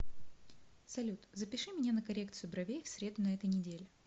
салют запиши меня на коррекцию бровей в среду на этой неделе